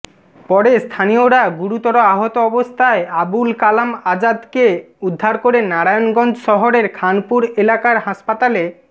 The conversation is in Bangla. পরে স্থানীয়রা গুরুতর আহত অবস্থায় আবুল কালাম আজাদকে উদ্ধার করে নারায়ণগঞ্জ শহরের খানপুর এলাকার হাসপাতালে